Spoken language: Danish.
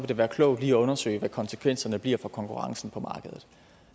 det være klogt lige at undersøge hvad konsekvensen bliver for konkurrencen på markedet